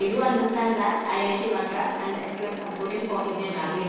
E do understand that I I T Madras and the S2S consortium for Indian languages.